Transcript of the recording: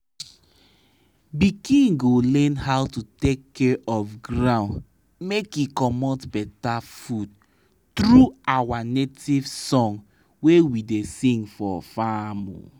pikin go learn how to take care of ground make e comot better food tru our nativesong wey we da sing for farm